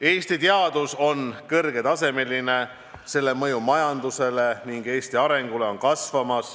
Eesti teadus on kõrgetasemeline, selle mõju majandusele ja Eesti arengule kasvab.